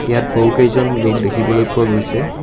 ইয়াত বহুকেইজন লোক দেখিবলৈ পোৱা গৈছে |